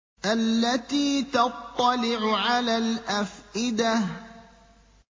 الَّتِي تَطَّلِعُ عَلَى الْأَفْئِدَةِ